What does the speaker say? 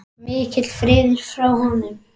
Mikill friður yfir honum.